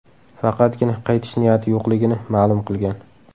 Faqatgina qaytish niyati yo‘qligini ma’lum qilgan.